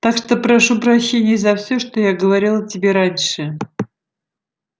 так что прошу прощения за все что я говорил о тебе раньше